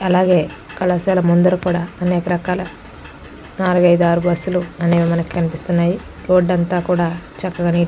అలాగే కళాశాల ముందర కూడా అనేక రకాల నాలుగు ఐదు ఆరు బస్సులు అనేవి మనకి కనిపిస్తున్నాయి. రోడ్ అంత కూడా చక్కగా నీటుగా--